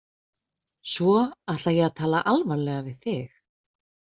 Svo ætla ég að tala alvarlega við þig.